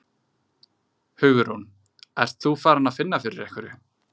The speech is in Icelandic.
Hugrún: Ert þú farin að finna fyrir einhverju?